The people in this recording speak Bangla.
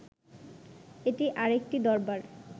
এটি আর একটি দরবার